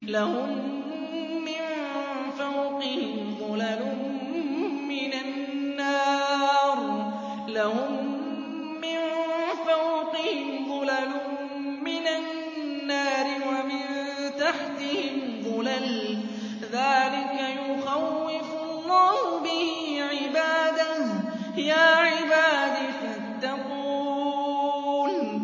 لَهُم مِّن فَوْقِهِمْ ظُلَلٌ مِّنَ النَّارِ وَمِن تَحْتِهِمْ ظُلَلٌ ۚ ذَٰلِكَ يُخَوِّفُ اللَّهُ بِهِ عِبَادَهُ ۚ يَا عِبَادِ فَاتَّقُونِ